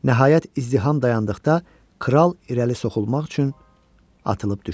Nəhayət, izdiham dayandıqda kral irəli soxulmaq üçün atılıb düşdü.